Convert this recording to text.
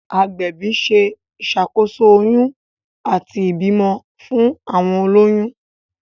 agbẹbi ṣe iṣàkóso oyún àti ibimọ fún àwọn oloyun.